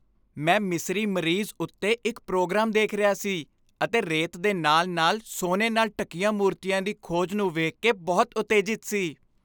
ਮੈਂ ਮਿਸਰੀ ਮਮੀਜ਼ ਉੱਤੇ ਇੱਕ ਪ੍ਰੋਗਰਾਮ ਦੇਖ ਰਿਹਾ ਸੀ ਅਤੇ ਰੇਤ ਦੇ ਨਾਲ ਨਾਲ ਸੋਨੇ ਨਾਲ ਢੱਕੀਆਂ ਮੂਰਤੀਆਂ ਦੀ ਖੋਜ ਨੂੰ ਵੇਖ ਕੇ ਬਹੁਤ ਉਤੇਜਿਤ ਸੀ